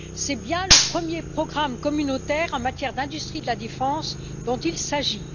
C'est bien le premier programme communautaire en matière d'industrie de la défense dont il s'agit.